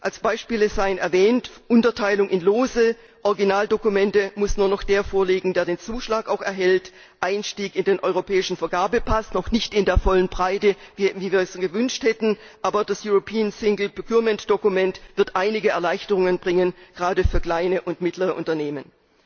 Als Beispiele seien erwähnt Unterteilung in Lose, Originaldokumente muss nur noch der vorlegen, der den Zuschlag erhält, Einstieg in den Europäischen Vergabepass noch nicht in der vollen Breite, wie wir es gewünscht hätten, aber das European Single Procurement Document wird einige Erleichterungen bringen, gerade für kleine und mittlere Unternehmen.